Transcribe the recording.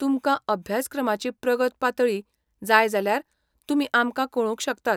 तुमकां अभ्यासक्रमाची प्रगत पातळी जाय जाल्यार तुमी आमकां कळोवंक शकतात.